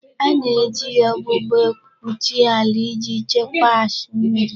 A na-eji ọgbụgbọ ekpuchi ala iji Chekwas mmiri.